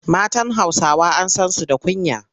Matan Hausawa an san su da kunya.